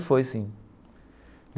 Foi sim.